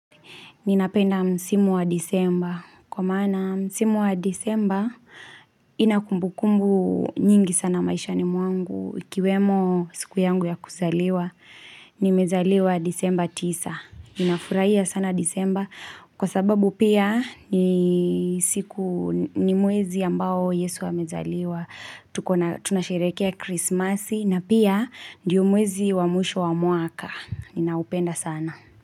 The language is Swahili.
Ninapenda msimu wa disemba. Kwa mmana msimu wa disemba inakumbukumbu nyingi sana maisha ni mwangu. Ikiwemo siku yangu ya kuzaliwa ni mezaliwa disemba tisa. Ninafurahiya sana disemba. Kwa sababu pia ni siku ni mwezi ambao yesu amezaliwa. Tuna sherehekea krismasi na pia ndiyo mwezi wa mwisho wa mwaka. Ninaupenda sana.